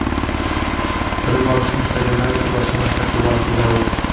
Bilim olishni istaganlar esa boshqa maktabga borishi zarur.